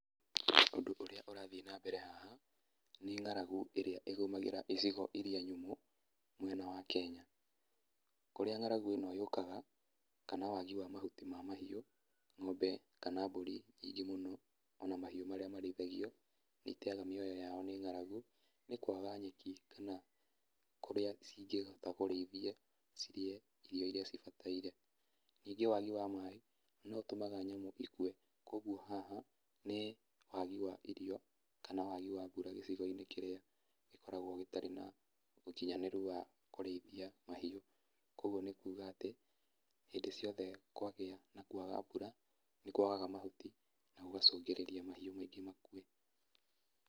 Ũndũ ũrĩa ũrathiĩ na mbere haha, nĩ ng'aragu ĩrĩa ĩgũmagĩra icigo iria nyũmũ mwena wa Kenya. Kũrĩa ng'aragu ĩno yũkaga, kana wagi wa mahuti ya mahiu, ng'ombe kana mbũri nyingĩ mũno, ona mahiũ marĩa marĩithagio, nĩ iteaga mioyo yao nĩ ng'aragu, nĩ kwaga nyeki kana kũrĩa cingĩhota kũrĩithie cirĩe irio iria cibataire. Ningĩ wagi wa maaĩ no ũtũmaga nyamũ ikue, kũguo haha nĩ wagi wa irio kana wagi wa mbura gĩcigo-inĩ kĩrĩa gĩkoragwo gĩtarĩ na ũkinyanĩru wa kũrĩithia mahiũ. Kũguo nĩ kuuga atĩ, hĩndĩ ciothe kwagĩa na kwaga mbura, nĩ kuagaga mahuti na gũgacũngĩrĩria mahiũ maingĩ makue.